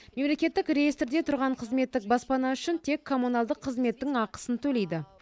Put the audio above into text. мемлекеттік реестрде тұрған қызметтік баспана үшін тек коммуналдық қызметтің ақысын төлейді